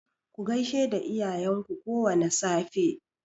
Ku gaishe da iyayen ku kowane safe.